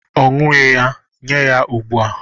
Ọ ṅughị ya, nye ya ugbu a!